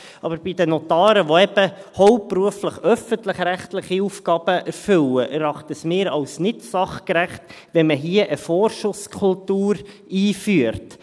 Aber bei den Notaren, welche eben hauptberuflich öffentlichrechtliche Aufgaben erfüllen, erachten wir es als nicht sachgerecht, wenn man hier eine Vorschusskultur einführt.